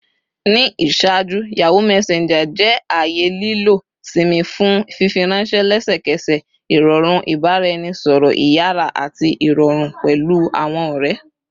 Ni iṣaaju, Yahoo Messenger jẹ aaye lilọ-si mi fun fifiranṣẹ lẹsẹkẹsẹ, irọrun ibaraẹnisọrọ iyara ati irọrun pẹlu awọn ọrẹ